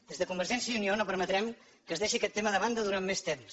des de convergència i unió no permetrem que es deixi aquest tema de banda durant més temps